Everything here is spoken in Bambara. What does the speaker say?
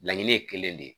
Laɲini ye kelen de ye